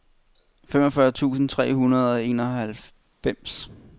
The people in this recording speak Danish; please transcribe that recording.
femogfyrre tusind tre hundrede og enoghalvfems